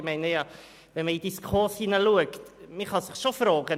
Wenn man in die SKOS-Richtlinien schaut, kann man sich schon fragen.